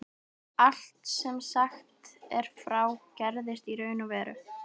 Allt sem sagt er frá, gerðist í raun og veru.